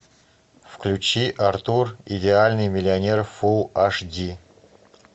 включи артур идеальный миллионер фулл аш ди